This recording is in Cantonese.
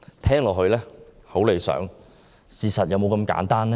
聽起來很理想，但事實是否那麼簡單？